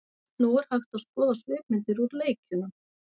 Nú er hægt að skoða svipmyndir úr leikjunum.